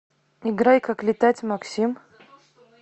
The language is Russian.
играй как летать максим